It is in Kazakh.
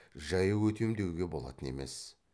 жаяу өтем деуге болатын емес